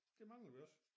Det manglede vi også